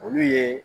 Olu ye